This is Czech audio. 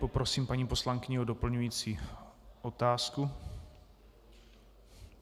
Poprosím paní poslankyni o doplňující otázku.